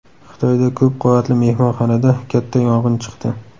Xitoyda ko‘p qavatli mehmonxonada katta yong‘in chiqdi.